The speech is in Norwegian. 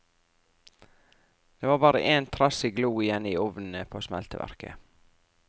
Det var bare én trassig glo igjen i ovnene på smelteverket.